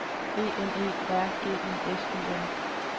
E N E R G I S Y N